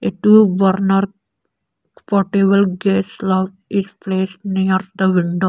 a two burner portable gas slove is place nears the window.